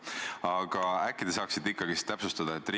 Aga äkki te saaksite ikkagi täpsustada?